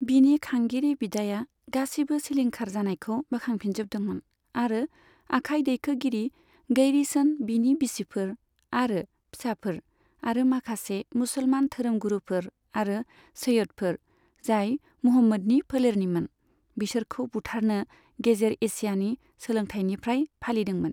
बिनि खांगिरि बिदाया गासिबो सिलिंखार जानायखौ बोखांफिनजोबदोंमोन आरो आखाइ दैखोगिरि गैरीसन, बिनि बिसिफोर आरो फिसाफोर, आरो माखासे मुसलमान धोरोमगुरुफोर आरो सैयदफोर, जाय मुहम्मदनि फोलेरनिमोन, बिसोरखौ बुथारनो गेजेर एसियानि सोलोंथायनिफ्राय फालिदोंमोन।